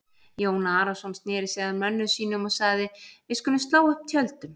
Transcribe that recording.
Jón Arason sneri sér að mönnum sínum og sagði:-Við skulum slá upp tjöldum.